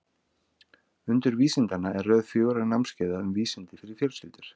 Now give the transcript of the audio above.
Undur vísindanna er röð fjögurra námskeiða um vísindi fyrir fjölskyldur.